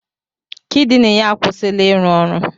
Kidini ya akwụsịla ịrụ ọrụ.